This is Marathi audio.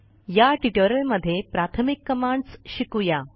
या ट्युटोरियलमध्ये प्राथमिक कमांडस् शिकू या